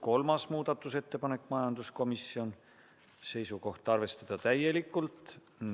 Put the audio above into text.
Kolmas muudatusettepanek, majanduskomisjonilt, seisukoht: arvestada täielikult.